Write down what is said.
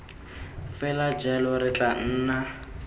fela jalo re tla nna